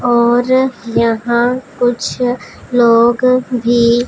और यहां कुछ लोग भी--